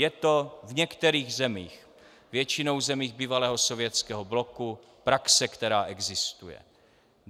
Je to v některých zemích, většinou zemích bývalého Sovětského bloku, praxe, která existuje.